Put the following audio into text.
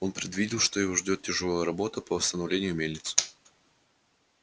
он предвидел что его ждёт тяжёлая работа по восстановлению мельницы